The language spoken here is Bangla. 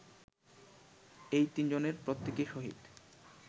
এই তিনজনের প্রত্যেকেই শহীদ